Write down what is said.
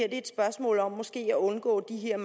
et spørgsmål om måske at undgå de her